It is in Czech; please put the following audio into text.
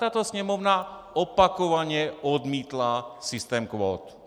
Tato sněmovna opakovaně odmítla systém kvót.